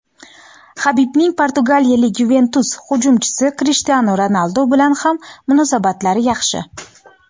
Habibning portugaliyalik "Yuventus" hujumchisi Krishtianu Ronaldu bilan ham munosabatlari yaxshi.